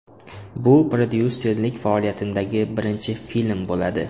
Bu prodyuserlik faoliyatimdagi birinchi film bo‘ladi.